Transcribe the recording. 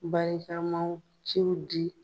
Barikamaw ciw di.